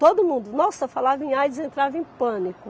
Todo mundo, nossa, falava em aidis, entrava em pânico.